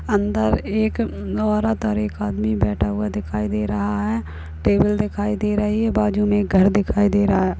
अन्दर एक औरत और एक आदमी बैठा हुआ दिखाई दे रहा है टेबल दिखाई दे रही है और बाजु में एक घर दिखाई दे रहा है